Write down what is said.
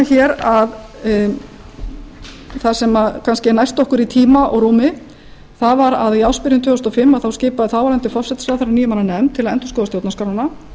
hér að það sem kannski er næst okkur í tíma og rúmi er að í ársbyrjun tvö þúsund og fimm skipað þáverandi forsætisráðherra níu manna nefnd til að endurskoða stjórnarskrána